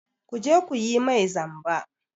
Ku je ku yi mai zamba!